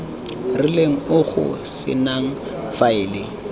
rileng o go senang faele